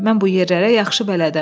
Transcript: Mən bu yerlərə yaxşı bələdəm.